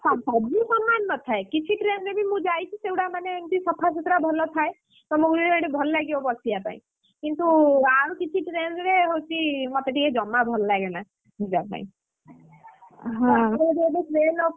ସବୁ ସମାନ ନଥାଏ କିଛି train ରେ ବି ମୁଁ ଯାଇଛି ସେଗୁଡା ମାନେ ଏମିତି ସଫାସୁତୁରା ଭଲ ଥାଏ, ତମକୁ ସେଠି ଭଲ ଲାଗିବ ବସିବା ପାଇଁ, କିନ୍ତୁ ଆଉ କିଛି train ରେ ହଉଛି ମତେ ଟିକେ ଜମା ଭଲ ଲାଗେନା, ଯିବା ପାଇଁ ଏପଟେ train ଉପରେ।